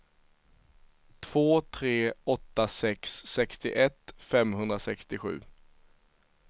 två tre åtta sex sextioett femhundrasextiosju